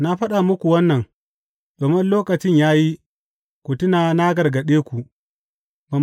Na faɗa muku wannan, domin in lokacin ya yi, ku tuna na gargaɗe ku.